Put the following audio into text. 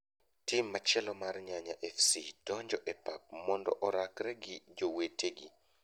Tim machielo mar Nyanya Fc donjo e pap mando orakre gi jowetegi